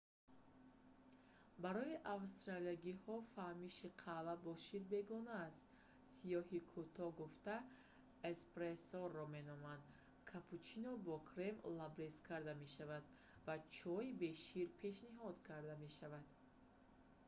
барои австралиягиҳо фаҳмиши қаҳва бо шир бегона аст. сиёҳи кӯтоҳ гуфта эспрессоро меноманд капучино бо крем на кафк лабрез карда мешавад ва чой бе шир пешниҳод карда мешавад